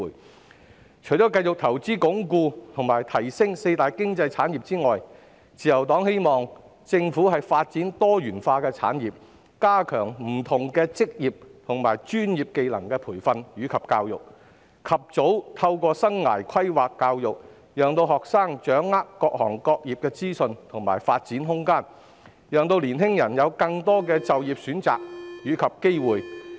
自由黨希望政府除繼續投放資源鞏固及提升四大經濟產業外，亦會發展多元化的產業，加強不同職業和專業技能的培訓及教育，及早透過生涯規劃教育，讓學生掌握各行業的資訊及發展空間，讓年輕人有更多就業選擇及機會。